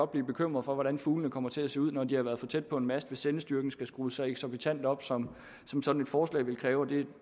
blive bekymret for hvordan fuglene kommer til at se ud når de har været for tæt på en mast altså hvis sendestyrken skal skrues så eksorbitant op som som sådan et forslag vil kræve og det